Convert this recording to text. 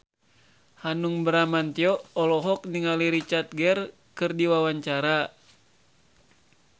Hanung Bramantyo olohok ningali Richard Gere keur diwawancara